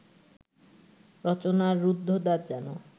রচনার রুদ্ধদ্বার যেন